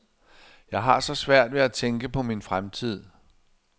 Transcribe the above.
Jeg har så svært ved at tænke på min fremtid.